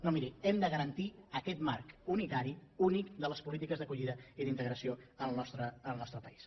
no miri hem de garantir aquest marc unitari únic de les polítiques d’acollida i d’integració en el nostre país